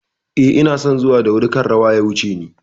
Eh, inason zuwa da wuri kar rawa ya wuce ni